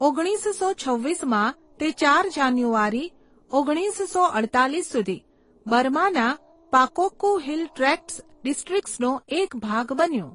ઓગણીસસો છવ્વીસમાં, તે ચાર જાન્યુઆરી ઓગણીસો અડતાલીસ સુધી બર્માના પાકોક્કુ હિલ ટ્રેક્ટ્સ ડિસ્ટ્રિક્ટ્સનો એક ભાગ બન્યો.